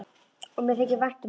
Og mér þykir vænt um það.